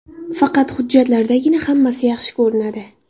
Faqat hujjatlardagina hammasi yaxshi ko‘rinadi.